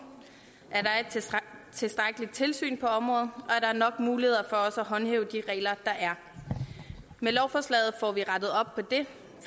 at tilstrækkeligt tilsyn på området og er nok muligheder for at håndhæve de regler der er med lovforslaget får vi rettet op på det